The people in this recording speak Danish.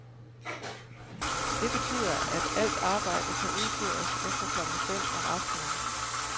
Det betyder, at alt arbejde kan udføres efter klokken fem om aftenen.